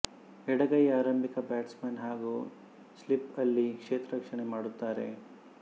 ಎಡಗೈ ಆರಂಭಿಕ ಬ್ಯಾಟ್ಸ್ಮನ್ ಹಾಗೂ ಸ್ಲೀಪ್ ಅಲ್ಲಿ ಕ್ಷೇತ್ರ ರಕ್ಷಣೆ ಮಾಡುತ್ತಾರೆ